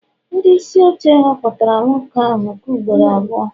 ndị isi oche họpụtara nwoke ahụ nke ugboro abụọ